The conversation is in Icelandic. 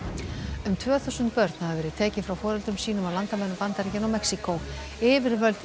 um tvö þúsund börn hafa verið tekin frá foreldrum sínum á landamærum Bandaríkjanna og Mexíkó yfirvöld í